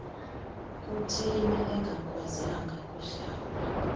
kutheni engakwazanga kuhlawula